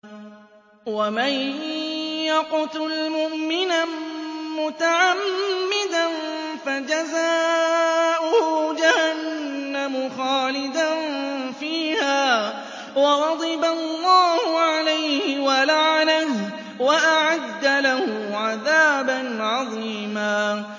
وَمَن يَقْتُلْ مُؤْمِنًا مُّتَعَمِّدًا فَجَزَاؤُهُ جَهَنَّمُ خَالِدًا فِيهَا وَغَضِبَ اللَّهُ عَلَيْهِ وَلَعَنَهُ وَأَعَدَّ لَهُ عَذَابًا عَظِيمًا